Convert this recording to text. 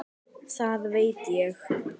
Það veit ég.